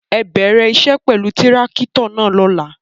Ẹ bẹrẹ iṣẹ pẹlú tirakito náa lọla!